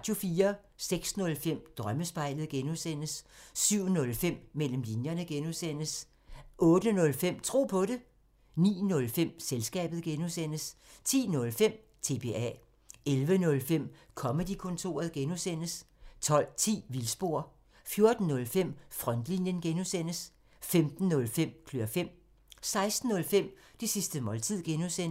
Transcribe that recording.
06:05: Drømmespejlet (G) 07:05: Mellem linjerne (G) 08:05: Tro på det 09:05: Selskabet (G) 10:05: TBA 11:05: Comedy-kontoret (G) 12:10: Vildspor 14:05: Frontlinjen (G) 15:05: Klør fem 16:05: Det sidste måltid (G)